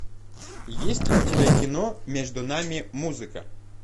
есть ли у тебя кино между нами музыка